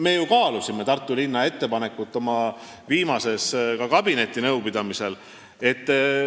Me ju kaalusime Tartu linna ettepanekut oma viimasel kabinetinõupidamisel.